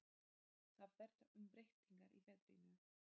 Það verða umbreytingar í veðrinu.